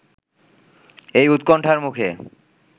এ উৎকণ্ঠার মুখে